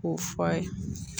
K'o fɔ a ye